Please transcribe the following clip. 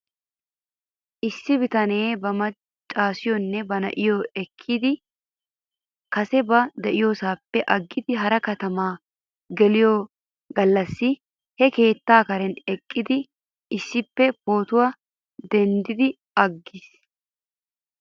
Issi bitanee ba maccaasiyoonne ba na'iyoo ekkidi kase ba diyoosaappe aggidi hara keettaa geliyoo gallassi he keetta karen eqqidi issippe pootuwaa denddi aggis